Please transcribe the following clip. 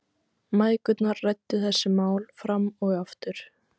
Mæðgurnar ræddu þessi mál fram og aftur.